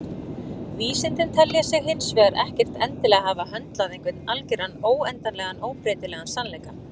Vísindin telja sig hins vegar ekkert endilega hafa höndlað einhvern algeran, endanlegan og óbreytanlegan sannleika.